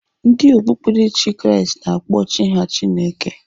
Ndị okpukperechi Kraịst na-akpọ Chi ha Chineke.